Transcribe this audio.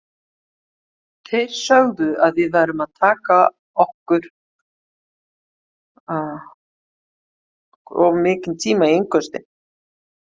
Þeir sögðu að við værum að taka okkur of mikinn tíma í innköstin.